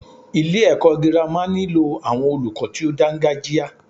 Ilé ẹ̀kọ́ gírámà nílò àwọn olùkọ tí o dáńgájia.